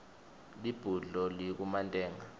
libhudlo likumantenga